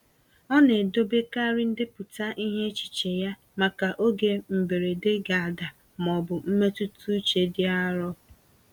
Ọ na-edobekarị ndepụta ihe echiche ya, maka oge mberede ga ada ma ọ bụ mmetụta uche dị arọ.